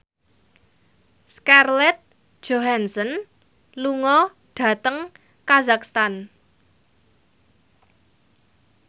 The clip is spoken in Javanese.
Scarlett Johansson lunga dhateng kazakhstan